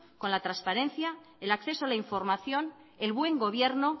con la transparencia el acceso a la información el buen gobierno